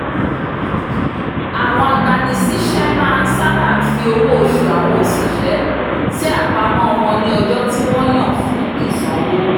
àwọn agbanisiṣẹ́ sábà máa ń fi owó òṣù àwọn oṣiṣẹ́ sí àpamọ́ wọn ní ọjọ́ tí wọ́n yàn fún ìsanwó